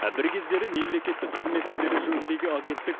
бір кездері мемлекеттік қызмет істері жөніндегі агенттік